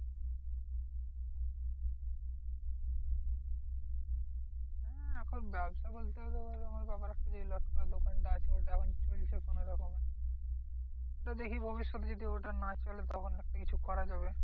হ্যাঁ এখন ব্যবসা বলতে তোর আমার বাবারা দোকানটা আছে ওটা এখন চলছে কোনোরকমে। ওটা দেখি ভবিষ্যতে যদি ওটা না চলে তখন একটা কিছু করা যাবে।